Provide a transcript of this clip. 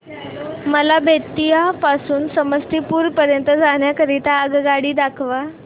मला बेत्तीयाह पासून ते समस्तीपुर पर्यंत जाण्या करीता आगगाडी दाखवा